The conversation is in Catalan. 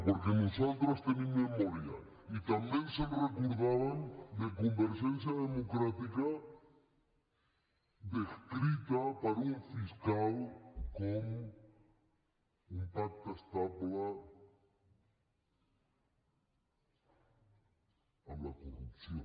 perquè nosaltres tenim memòria i també ens recordàvem de convergència democràtica descrita per un fiscal com un pacte estable amb la corrupció